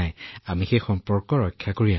নহয় আমি আমাৰ সম্বন্ধ আগবঢ়াইছিলো